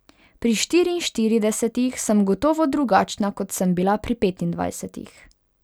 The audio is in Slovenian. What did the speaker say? Pri štiriinštiridesetih sem gotovo drugačna, kot sem bila pri petindvajsetih.